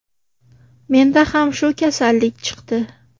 Mendan ham shu kasallik chiqdi.